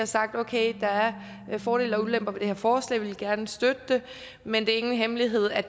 sagt at okay der er fordele og ulemper ved det her forslag og vi vil gerne støtte det men det er ingen hemmelighed at